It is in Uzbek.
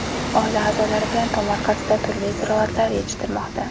Oila a’zolari bilan tomorqasida turli ziroatlar yetishtirmoqda.